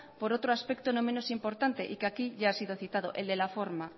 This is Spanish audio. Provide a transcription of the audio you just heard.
por otro aspecto no menos importante y que aquí ya ha sido citado el de la forma